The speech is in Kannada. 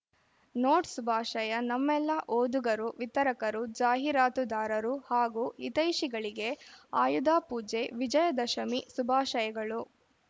ನೋಟ್‌ ಶುಭಾಶಯ ನಮ್ಮೆಲ್ಲಾ ಓದುಗರು ವಿತರಕರು ಜಾಹೀರಾತುದಾರರು ಹಾಗೂ ಹಿತೈಷಿಗಳಿಗೆ ಆಯುಧಪೂಜೆ ವಿಜಯದಶಮಿ ಶುಭಾಶಯಗಳು